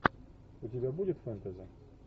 у тебя будет фэнтези